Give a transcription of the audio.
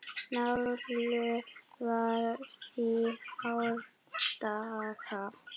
Njálu var í árdaga.